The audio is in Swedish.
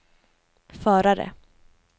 förare